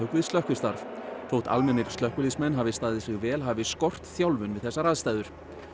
við slökkvistarf þótt almennir slökkviliðsmenn hafi staðið sig vel hafi skort þjálfun fyrir þessar aðstæður